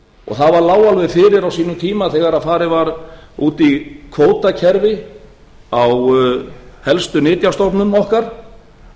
lá alveg fyrir á sínum tíma þegar farið var út í kvótakerfi á helstu nytjastofnum okkar